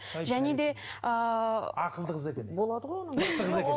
және де ыыы ақылды қыз екен мықты қыз екен